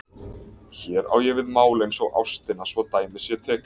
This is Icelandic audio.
Hér á ég við mál eins og ástina svo dæmi sé tekið.